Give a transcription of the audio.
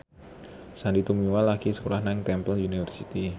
Sandy Tumiwa lagi sekolah nang Temple University